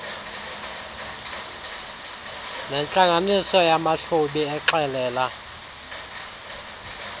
nentlanganiso yamahlubi exelela